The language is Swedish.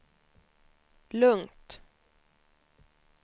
lugnt